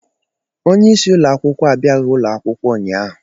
Onyeisi ụlọ akwụkwọ abịaghị ụlọ akwụkwọ ụnyaahụ